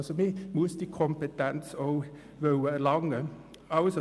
Man muss diese Kompetenz somit auch erlangen wollen.